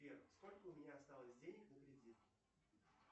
сбер сколько у меня осталось денег на кредит